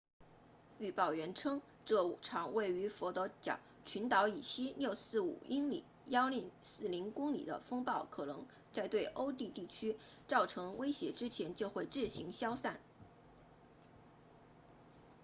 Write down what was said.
预报员称这场位于佛得角群岛以西645英里1040公里的风暴可能在对陆地地区造成威胁之前就会自行消散